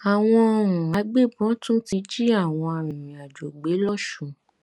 àwọn um agbébọn tún ti jí àwọn arìnrìnàjò gbé lọsùn